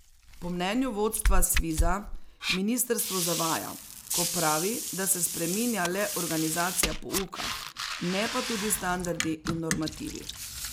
Po mnenju vodstva Sviza ministrstvo zavaja, ko pravi, da se spreminja le organizacija pouka, ne pa tudi standardi in normativi.